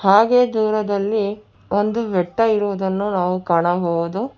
ಹಾಗೆ ದೂರದಲ್ಲಿ ಒಂದು ಬೆಟ್ಟ ಇರುವುದನ್ನು ನಾವು ಕಾಣಬಹುದು.